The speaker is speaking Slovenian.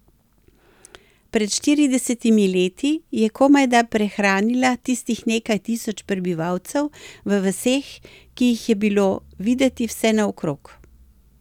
Pred štiridesetimi leti je komajda prehranila tistih nekaj tisoč prebivalcev v vaseh, ki jih je bilo videti vsenaokrog.